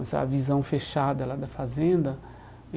Essa visão fechada lá da